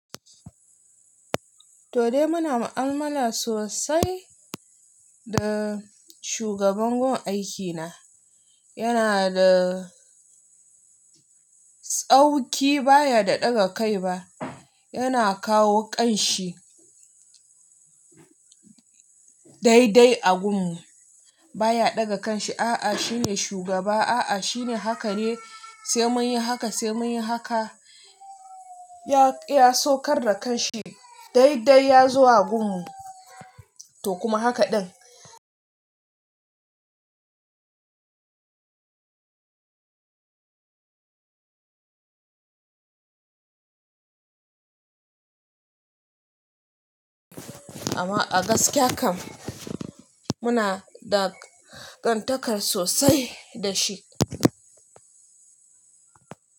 Toh dai muna mu'amala sosai da shugaban gun aiki na, yana da tsauki baya da ɗaga kai ba, yana kawo kan shi dai-dai a gun mu baya ɗaga kan shi, a'a shine shugaba a'a shine haka ne sai mun yi haka sai mun yi haka. Ya iya saukar da kan shi dai-dai ya zo a gun mu toh kuma haka ɗin. Amma a gaskiya kam muna da ƙantakar sosai da shi.